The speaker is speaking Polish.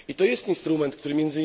I to jest instrument, który